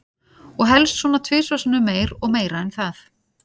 Og helst svona tvisvar sinnum meir og meira en það.